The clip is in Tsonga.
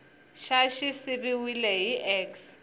xa xi siviwile hi x